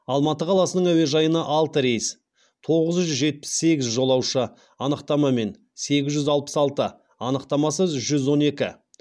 алматы қаласының әуежайына алты рейс тоғыз жүз жетпіс сегіз жолаушы анықтамамен сегіз жүз алпыс алты анықтамасыз жүз он екі